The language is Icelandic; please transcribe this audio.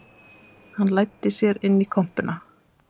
Hann læddi sér inn í kompuna